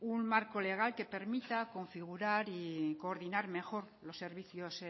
un marco legal que permita configurar y coordinar mejor los servicios